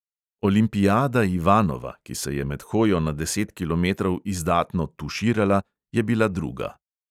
Olimpiada ivanova, ki se je med hojo na deset kilometrov izdatno "tuširala", je bila druga.